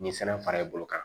Ni sɛbɛn fara i bolo kan